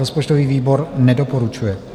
Rozpočtový výbor nedoporučuje.